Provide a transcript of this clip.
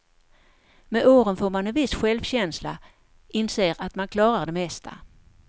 Med åren får man en viss självkänsla, inser att man klarar det mesta.